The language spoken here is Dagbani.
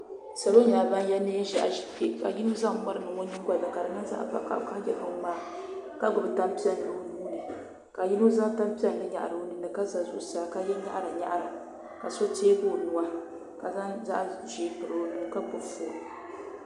Salo nyɛla ban ye neen' ʒɛhi ʒi kpe ka yino zaŋ mari niŋ o nyiŋɡɔli ni ka di niŋ zaɣ' vakahili ka ye biŋŋmaa ka ɡbubi tampiɛlli o nuu ni ka yino zaŋ tampiɛlli nyahiri o nini ni ka za zuɣusaa ka ye nyaɣiranyaɣira ka so teeɡi o nuu ka zaŋ zaɣ' ʒee piri o nuu ka ɡbubi foon